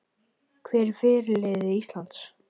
Hver er fyrirliði Íslands?